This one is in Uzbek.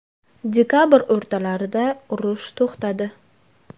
Dekabr o‘rtalarida urush to‘xtadi.